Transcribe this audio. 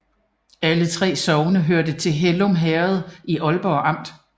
Alle 3 sogne hørte til Hellum Herred i Ålborg Amt